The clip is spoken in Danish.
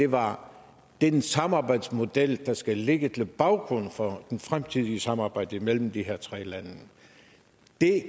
var den samarbejdsmodel der skal ligge til grund for det fremtidige samarbejde mellem de her tre lande og det